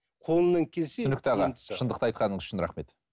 қолымнан келсе түсінікті аға шындықта айтқаныңыз үшін рахмет